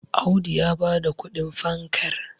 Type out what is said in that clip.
Audu ya ba da kudin fankar